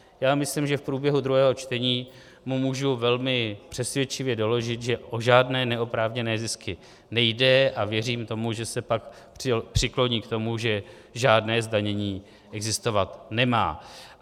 Já myslím, že v průběhu druhého čtení mu můžu velmi přesvědčivě doložit, že o žádné neoprávněné zisky nejde, a věřím tomu, že se pak přikloní k tomu, že žádné zdanění existovat nemá.